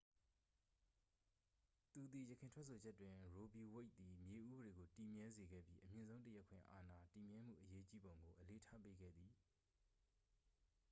သူသည် ယခင်ထွက်ဆိုချက်တွင် ရိုးဗီဝိတ်သည် မြေဥပဒေကို တည်မြဲစေခဲ့ပြီး အမြင့်ဆုံးတရားခွင်အာဏာ တည်မြဲမှုအရေးကြီးပုံကို အလေးထားပေးခဲ့သည်